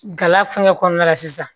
Gala fɛngɛ kɔnɔna la sisan